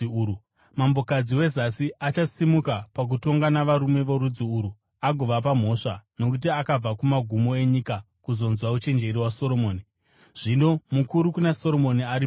Mambokadzi weZasi achasimuka pakutongwa navarume vorudzi urwu agovapa mhosva; nokuti akabva kumagumo enyika kuzonzwa uchenjeri hwaSoromoni, zvino mukuru kuna Soromoni ari pano.